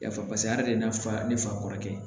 Yafa paseke a de ye na fa ne fa kɔrɔkɛ ye